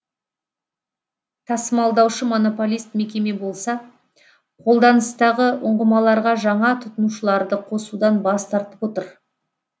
тасымалдаушы монополист мекеме болса қолданыстағы ұңғымаларға жаңа тұтынушыларды қосудан бас тартып отыр